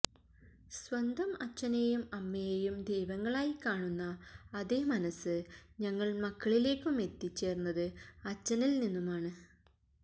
സ്വന്തം അഛനെയും അമ്മയേയും ദൈവങ്ങളായി കാണുന്ന അതേ മനസ് ഞങ്ങൾ മക്കളിലേക്കുമെത്തിച്ചേർന്നത് അച്ഛനിൽ നിന്നുമാണ്